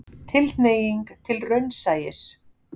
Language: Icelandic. Tilhneiging til raunsæis.